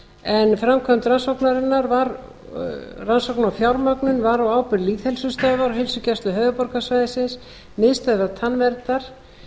en framkvæmd rannsóknar og fjármögnun var á ábyrgð lýðheilsustöðvar og heilsugæslu höfuðborgarsvæðisins miðstöðvar tannverndar